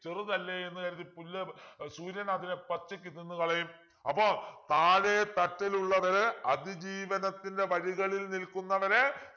ചെറുതല്ലേ എന്ന് കരുതി പുല്ല് ഏർ സൂര്യൻ അതിനെ പച്ചയ്ക്ക് തിന്നുകളയും അപ്പൊ താഴെത്തട്ടിൽ ഉള്ളവരെ അതിജീവനത്തിൻ്റെ വഴികളിൽ നിൽക്കുന്നവരെ